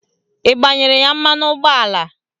Ị gbanyere ya mmanụ ụgbọala?